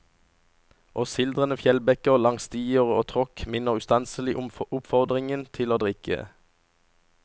Og sildrende fjellbekker langs stier og tråkk minner ustanselig om oppfordringen til å drikke.